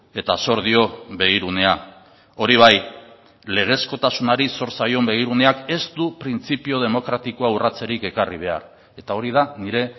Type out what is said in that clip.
eta zor dio begirunea hori bai legezkotasunari zor zaion begiruneak ez du printzipio demokratikoa urratzerik ekarri behar eta hori da nire